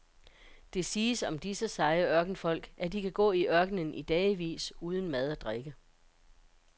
Det siges om disse seje ørkenfolk at de kan gå i ørkenen i dagevis uden mad og drikke.